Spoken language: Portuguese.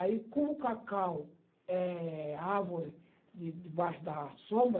Aí como o cacau é árvore de debaixo da sombra,